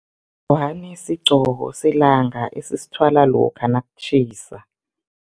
Ngwani sigqoko selanga esisithwala lokha nakutjhisa.